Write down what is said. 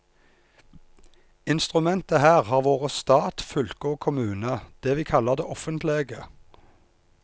Instrumentet her har vore stat, fylke og kommune, det vi kallar det offentlege.